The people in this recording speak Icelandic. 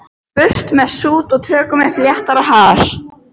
Burt með sút og tökum upp léttara hjal.